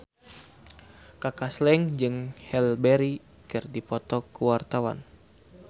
Kaka Slank jeung Halle Berry keur dipoto ku wartawan